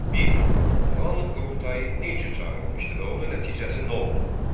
Bir: Muğam qurultayını nə üçün çağırılmışdı və onun nəticəsi nə oldu?